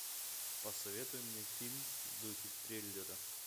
посоветуй мне фильм в духе триллера